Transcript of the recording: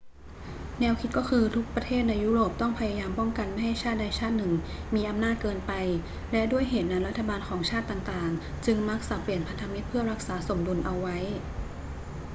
แนวคิดก็คือ ทุกประเทศในยุโรปต้องพยายามป้องกันไม่ให้ชาติใดชาติหนึ่งมีอำนาจเกินไป และด้วยเหตุนั้นรัฐบาลของชาติต่าง ๆ จึงมักสับเปลี่ยนพันธมิตรเพื่อรักษาสมดุลเอาไว้